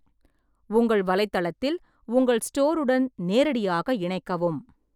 உங்கள் வலைத்தளத்தில் உங்கள் ஸ்டோருடன் நேரடியாக இணைக்கவும்.